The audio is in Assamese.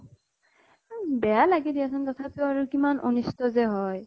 বেয়া লাগে দিয়া চোন । তথাপিও আৰু কিমান যে অনিষ্ট হয় ।